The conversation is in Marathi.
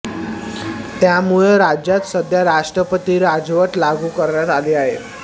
त्यामुळं राज्यात सध्या राष्ट्रपती राजवट लागू करण्यात आली आहे